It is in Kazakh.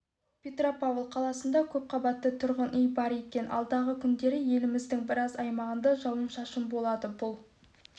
петропавл қаласында көп қабатты тұрғын үй бар екен алдағы күндері еліміздің біраз аймағында жауын-шашын болады бұл